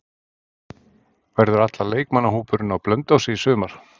Verður allur leikmannahópurinn á Blönduósi í sumar?